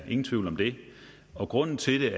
ingen tvivl om det og grunden til